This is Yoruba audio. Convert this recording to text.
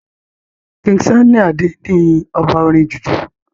king sunny Ade ní ọba orin jùjú